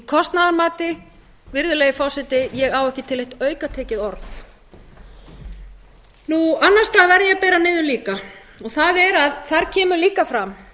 kostnaðarmati virðulegi forseti ég á ekki til eitt aukatekið orð annars staðar verð ég að bera niður líka þar kemur líka fram